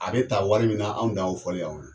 A bɛ ta wari min anw dan ye o fɔli ye aw ye.